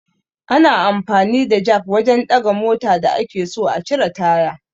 Ana amfani da jak wajan ɗaga mota da ake so a cire taya